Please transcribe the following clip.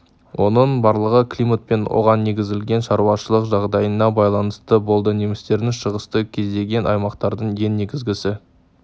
оның барлығы климат пен оған негізделген шаруашылық жағдайына байланысты болды немістердің шығыста көздеген аймақтардың ең негізгісі